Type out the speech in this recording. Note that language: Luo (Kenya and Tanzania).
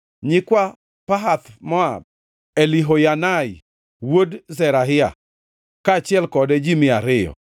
nyikwa Pahath-Moab, Elihoyanai wuod Zerahia, kaachiel kode ji mia ariyo;